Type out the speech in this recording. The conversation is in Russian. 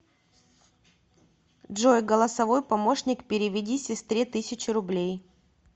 джой голосовой помощник переведи сестре тысячу рублей